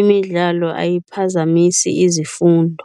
imidlalo ayiphazamisi izifundo.